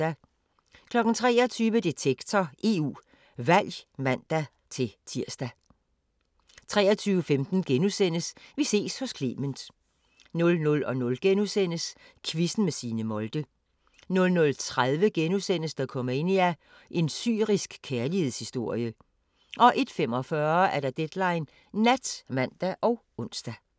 23:00: Detektor – EU Valg (man-tir) 23:15: Vi ses hos Clement * 00:00: Quizzen med Signe Molde * 00:30: Dokumania: En syrisk kærlighedshistorie * 01:45: Deadline Nat (man og ons)